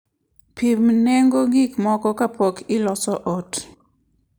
Pim nengo gik moko kapok iloso ot.